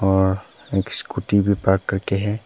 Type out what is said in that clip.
और एक स्कूटी भी पार्क करके है।